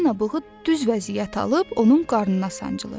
Balina bığı düz vəziyyət alıb onun qarnına sancılır.